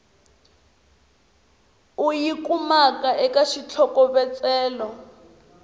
u yi kumaka eka xitlhokovetselo